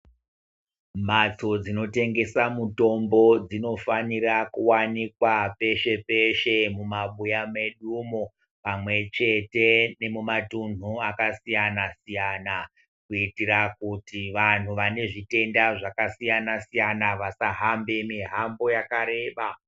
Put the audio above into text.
Mhatso dzinotengesa mitombo dzinofanira kuwanikwa peshe peshe mumabuya medu mo, pamwe chete nemumatunhu akasiyana siyana kuyitira kuti vanhu vanezvitenda zvakasiyana siyana vasahambe mihambo yakareba.